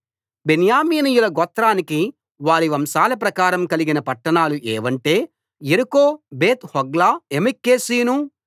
బెన్యామీనీయుల గోత్రానికి వారి వంశాల ప్రకారం కలిగిన పట్టణాలు ఏవంటే యెరికో బేత్‌హోగ్లా యెమెక్కెసీసు